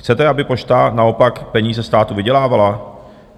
Chcete, aby Pošta naopak peníze státu vydělávala?